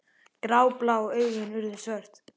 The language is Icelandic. Gráblá augun urðu svört.